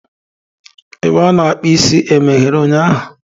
Ebe a na-akpụ isi emeghere ụnyahụ?